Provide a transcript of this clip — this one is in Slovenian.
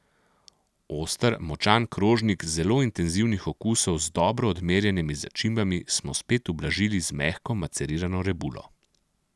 Oster, močan krožnik zelo intenzivnih okusov z dobro odmerjenimi začimbami smo spet ublažili z mehko macerirano rebulo.